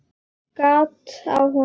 Gat á honum miðjum.